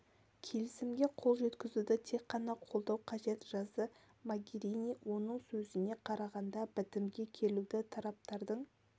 келісімге қол жеткізуді тек қана қолдау қажет жазды могерини оның сөзіне қарағанда бітімге келуді тараптардың